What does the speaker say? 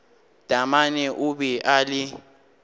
taamane o be a le